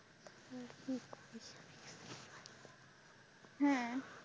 হ্যাঁ,